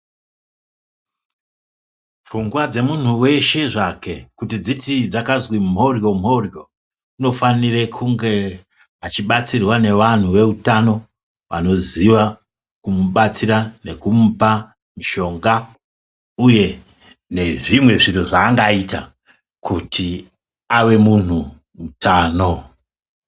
Pfungwa dzemuntu weshe zvake kuti dzizi dzakazwi moryo moryo unofanira kunge achibatsirwa nevanhu veutano vanoziva kumubatsira nekumuoa mishonga uye nezvimweni zviro zvaangaita kuti ave munhu mutano.